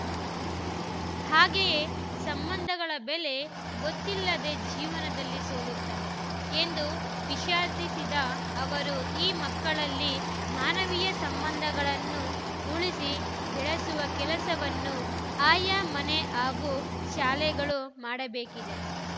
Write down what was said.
ಹಾಗೇಯೇ ಸಂಬಂಧಗಳ ಬೆಲೆ ಗೊತ್ತಿಲ್ಲದೇ ಜೀವನದಲ್ಲಿ ಸೋಲುತ್ತಾರೆ ಎಂದು ವಿಷಾದಿಸಿದ ಅವರು ಈ ಮಕ್ಕಳಲ್ಲಿ ಮಾನವೀಯ ಸಂಬಂಧಗಳನ್ನು ಉಳಿಸಿ ಬೆಳೆಸುವ ಕೆಲಸವನ್ನು ಆಯಾ ಮನೆ ಹಾಗೂ ಶಾಲೆಗಳು ಮಾಡಬೇಕಿದೆ